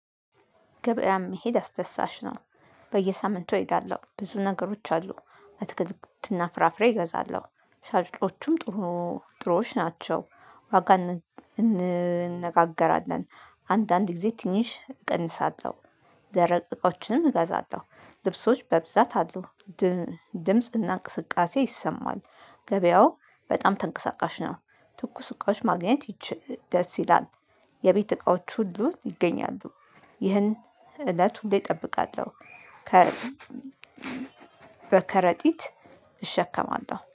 ገበያም መሄድ አስደሳች ነው በየሳምንቱ እሄዳለሁ። ብዙ ነገሮች አሉ አትክልክትና ፍራፍሬ እገዛለሁ። ሻጮቹም ጥሩ ጥሩዎች ናቸው። ዋጋ እንነጋገራለን አንዳንድ ጊዜ ትንሽ እቀንሳለሁ። ደረቅ እቃዎችንም እገዛለሁ። ልብሶች በብዛት አሉ ድ ድምጽና እንቅስቃሴ ይሰማል። ገበያው በጣም ተንቀሳቃሽ ነው። ትኩስ እቃዎች ማግኘት ይች ደስ ይላል። የቤት እቃዎች ሁሉ ይገኛሉ። ይህን እለት ሁሌ እጠብቃለሁ። ከረ በከረጢት እሸከማለሁ